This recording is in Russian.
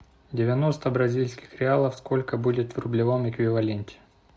девяносто бразильских реалов сколько будет в рублевом эквиваленте